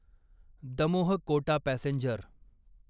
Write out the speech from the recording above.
Damoh Kota passenger